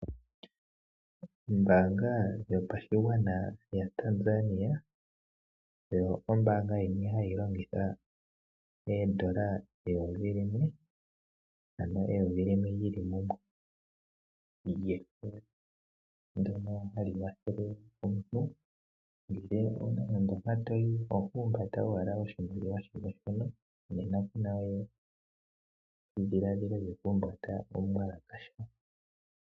Ombaanga yaTanzania oyo ombaanga yimwe hayi landitha ooshilinga eyovi limwe li li mumwe lyefo ndyoka hali kwathele omuntu. Uuna wu na mpoka to yi oho humbata owala oshimaliwa shimwe shoka nena ku na we edhiladhilo lyokuhumbata omuwalakasha.